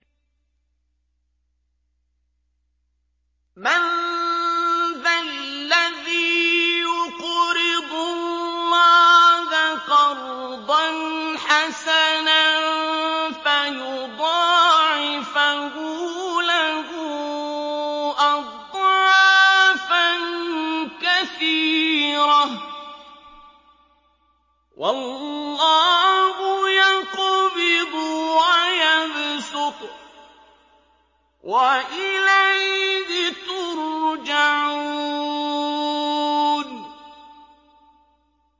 مَّن ذَا الَّذِي يُقْرِضُ اللَّهَ قَرْضًا حَسَنًا فَيُضَاعِفَهُ لَهُ أَضْعَافًا كَثِيرَةً ۚ وَاللَّهُ يَقْبِضُ وَيَبْسُطُ وَإِلَيْهِ تُرْجَعُونَ